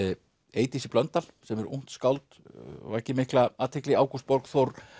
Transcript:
Eydísi Blöndal sem er ungt skáld vakið mikla athygli Ágúst Borgþór